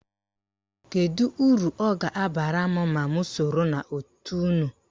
Kedu uru ọ ga-abara m ma m soro n'òtù unu?